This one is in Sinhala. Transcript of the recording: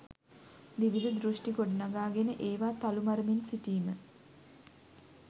විවිධ දෘෂ්ටි ගොඩනගාගෙන ඒවා තලු මරමින් සිටීම